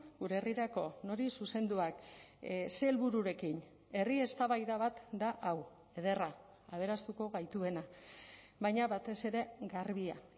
gure herrirako nori zuzenduak ze helbururekin herri eztabaida bat da hau ederra aberastuko gaituena baina batez ere garbia